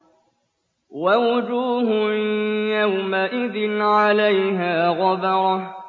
وَوُجُوهٌ يَوْمَئِذٍ عَلَيْهَا غَبَرَةٌ